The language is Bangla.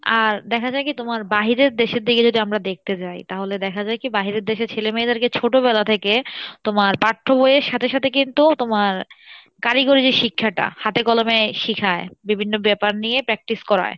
আর দেখ যাই কী তোমার বাহিরের দেশের দিকে যদি আমরা দেখতে যাই তাহলে দেখা যায় কী বাহিরের দেশে ছেলে মেয়েদের কে ছোটবেলা থেকে তোমার পাঠ্য বইয়ের সাথে সাথে কিন্তু তোমার কারিগরী যে শিক্ষাটা হাতে কলমে শিখায়, বিভিন্ন ব্যাপার নিয়ে practice করাই